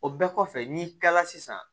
O bɛɛ kɔfɛ n'i kilala sisan